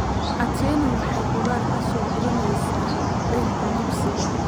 Atieno waxay khudaar ka soo guranaysaa beerta dugsiga